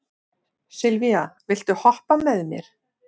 Sylvía, viltu hoppa með mér?